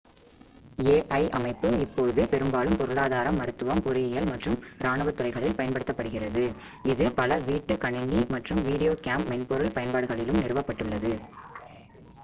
ai அமைப்பு இப்போது பெரும்பாலும் பொருளாதாரம் மருத்துவம் பொறியியல் மற்றும் இராணுவத் துறைகளில் பயன்படுத்தப்படுகிறது இது பல வீட்டு கணினி மற்றும் வீடியோ கேம் மென்பொருள் பயன்பாடுகளிலும் நிறுவப்பட்டுள்ளது